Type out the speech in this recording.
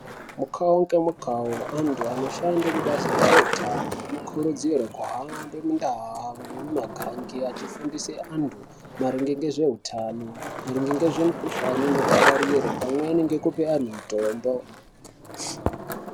Mukawo ngemukawo antu anoshande kubazi rezveutano anokurudzirwa kuhamba mundau nemumaganga achufundisa antu maringe ngezveutano, maringe nemikhuhlane ingapararire pamwe nekupe antu mitombo.